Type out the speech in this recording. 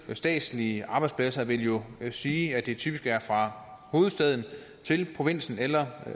statslige arbejdspladser vil jo sige at det typisk er fra hovedstaden til provinsen eller